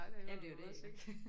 Jamen det er jo det iggå